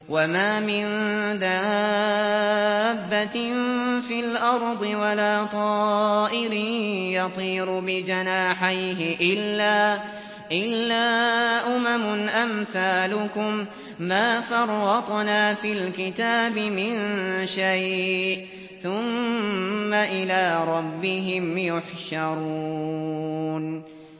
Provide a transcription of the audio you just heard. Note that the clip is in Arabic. وَمَا مِن دَابَّةٍ فِي الْأَرْضِ وَلَا طَائِرٍ يَطِيرُ بِجَنَاحَيْهِ إِلَّا أُمَمٌ أَمْثَالُكُم ۚ مَّا فَرَّطْنَا فِي الْكِتَابِ مِن شَيْءٍ ۚ ثُمَّ إِلَىٰ رَبِّهِمْ يُحْشَرُونَ